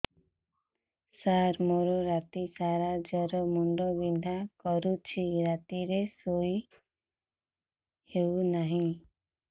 ସାର ମୋର ରାତି ସାରା ଜ୍ଵର ମୁଣ୍ଡ ବିନ୍ଧା କରୁଛି ରାତିରେ ଶୋଇ ହେଉ ନାହିଁ